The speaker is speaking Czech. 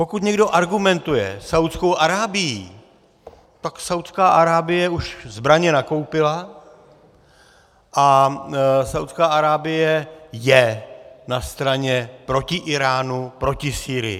Pokud někdo argumentuje Saúdskou Arábií, tak Saúdská Arábie už zbraně nakoupila a Saúdská Arábie je na straně proti Íránu, proti Sýrii.